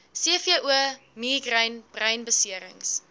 cvo migraine breinbeserings